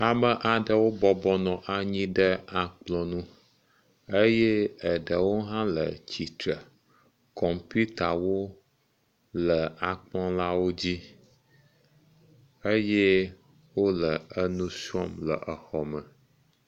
Ame aɖewo bɔbɔ nɔ anyi ɖe akplɔ̃ nu eye eɖewo hã le tsi tre. Kɔmpiutawo le akplɔ̃lawo dzi. Eye wole enu srɔ̃m le exɔme.